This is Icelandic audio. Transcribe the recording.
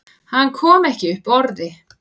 Hann kom ekki upp orði.